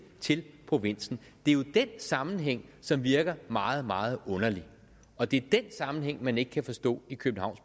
til provinsen det er jo den sammenhæng som virker meget meget underlig og det er den sammenhæng man ikke kan forstå i københavns